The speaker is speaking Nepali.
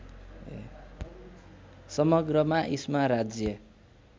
समग्रमा इस्मा राज्य